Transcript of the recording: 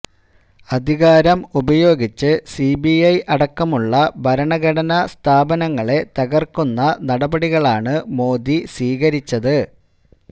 അധികാരം ഉപയോഗിച്ച് സിബിഐ അടക്കമുള്ള ഭരണഘടനാ സ്ഥാപനങ്ങളെ തകര്ക്കുന്ന നടപടികളാണ് മോദി സ്വീകരിച്ചത്